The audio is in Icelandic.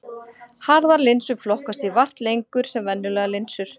Harðar linsur flokkast því vart lengur sem venjulegar linsur.